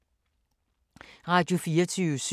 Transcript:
Radio24syv